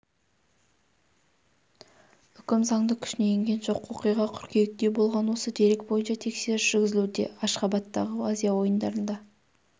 үкім заңды күшіне енген жоқ оқиға қыркүйекте болған осы дерек бойынша тексеріс жүргізілуде ашхабадтағы азия ойындарында